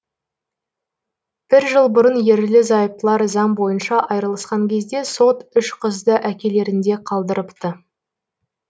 бір жыл бұрын ерлі зайыптылар заң бойынша айырылысқан кезде сот үш қызды әкелерінде қалдырыпты